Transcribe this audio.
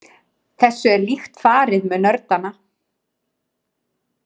Þessu er líkt farið með nördana.